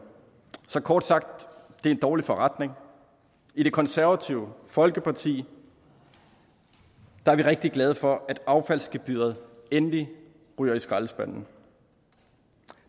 så kort sagt det er en dårlig forretning i det konservative folkeparti er vi rigtig glade for at affaldsgebyret endelig ryger i skraldespanden